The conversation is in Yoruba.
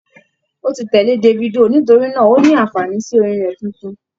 Ó ti tẹ̀lé Davido nítorínà ó ní ànfààní sí orin rẹ̀ tuntun.